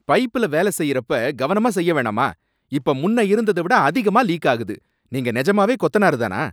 பைப்ல வேலை செய்யறப்ப கவனமா செய்யவேணாமா, இப்ப முன்னயிருந்தவிட அதிகமா லீக் ஆகுது, நீங்க நெஜமாவே கொத்தனாருதானா?